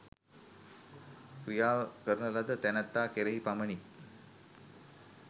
ක්‍රියාව කරන ලද තැනැත්තා කෙරෙහි පමණි